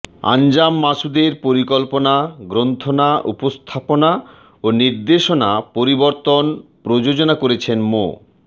আনজাম মাসুদের পরিকল্পনা গ্রন্থনা উপস্থাপনা ও নির্দেশনা পরিবর্তন প্রযোজনা করেছেন মো